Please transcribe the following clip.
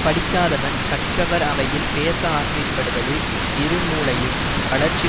படிக்காதவன் கற்றவர் அவையில் பேச ஆசைப்டுபடுவது இரு மூலையும் வளர்ச்சி